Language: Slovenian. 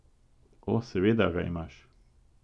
O, seveda ga imaš.